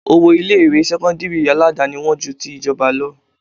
Owó ilé ìwé sẹ́kọ́ńdírì Aládàáni wón ju ti ìjọba lọ.